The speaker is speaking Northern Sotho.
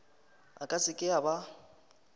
a ka seke a ba